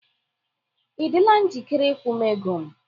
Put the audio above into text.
Ị dịla njikere ịkwụ m ego m?